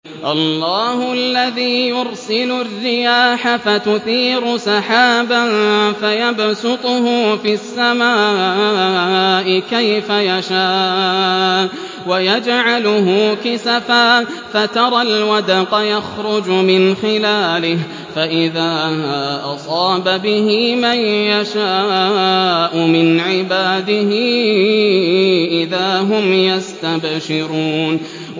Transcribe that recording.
اللَّهُ الَّذِي يُرْسِلُ الرِّيَاحَ فَتُثِيرُ سَحَابًا فَيَبْسُطُهُ فِي السَّمَاءِ كَيْفَ يَشَاءُ وَيَجْعَلُهُ كِسَفًا فَتَرَى الْوَدْقَ يَخْرُجُ مِنْ خِلَالِهِ ۖ فَإِذَا أَصَابَ بِهِ مَن يَشَاءُ مِنْ عِبَادِهِ إِذَا هُمْ يَسْتَبْشِرُونَ